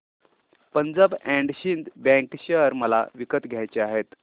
Punjab and Sind bank share मला विकत घ्यायचे आहेत